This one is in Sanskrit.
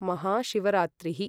महाशिवरात्रिः